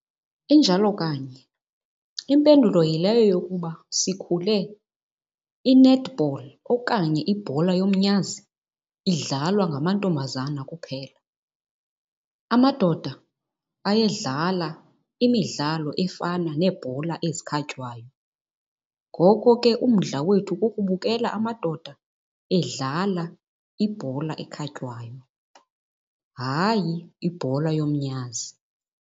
Injalo kanye. Impendulo yileyo yokuba sikhule i-netball okanye ibhola yomnyazi idlalwa ngamantombazana kuphela. Amadoda ayedlala imidlalo efana neebhola ezikhatywayo. Ngoko ke umdla wethu kukubukela amadoda edlala ibhola ekhatywayo, hayi ibhola yomnyazi.